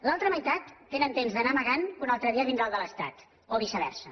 l’altra meitat tenen temps d’anar amagant que un altre dia vindrà el de l’estat o viceversa